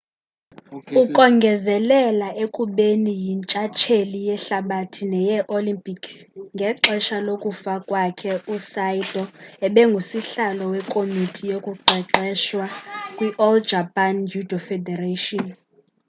ukongezelela ekubeni yintshtsheli yehlabathi neyee-olympics ngexesha lokufa kwakhe usaito ebengusihlalo wekomiti yokuqeqesha kwi-all japan judo federation